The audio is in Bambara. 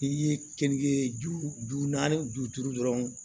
N'i ye keninke ju ju naani ju duuru dɔrɔn